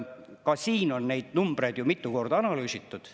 Ka siin on neid numbreid ju mitu korda analüüsitud.